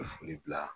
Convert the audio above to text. Foli bila